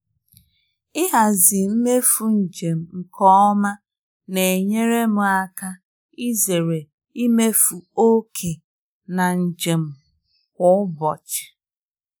Ịhazi mmefu njem nke ọma na-enyere m aka izere imefu oke na njem kwa ụbọchị.